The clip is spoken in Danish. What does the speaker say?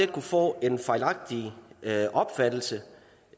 kunne få en fejlagtig opfattelse